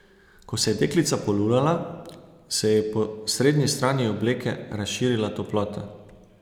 Ko se je deklica polulala, se ji je po srednji strani obleke razširila toplota.